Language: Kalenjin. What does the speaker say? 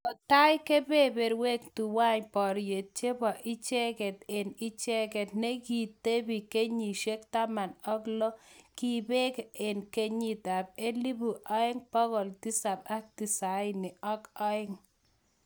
Kotai keberberwek tuwai boriet chebo ichegei eng ichegei ne ki tebi kenyisyek taman ak lo kibeek eng kenyit ab elibu agenge bogol tisap ak tisini ak aeng